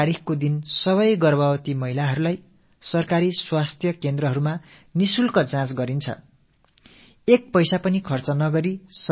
இந்தத் திட்டத்தின்படி ஒவ்வொரு கர்ப்பிணித் தாய்க்கும் அரசு மருத்துவ மையங்களில் ஒவ்வொரு மாதமும் 9ஆம் தேதியன்று கட்டணமில்லா பரிசோதனை நிகழ்த்தப்படும்